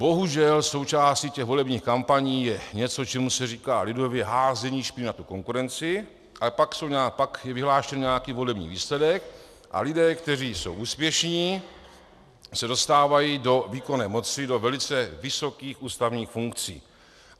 Bohužel součástí těch volebních kampaní je něco, čemu se říká lidově házení špíny na konkurenci, ale pak je vyhlášen nějaký volební výsledek a lidé, kteří jsou úspěšní, se dostávají do výkonné moci, do velice vysokých ústavních funkcí.